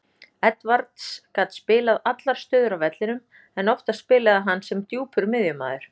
Edwards gat spilað allar stöður á vellinum en oftast spilaði hann sem djúpur miðjumaður.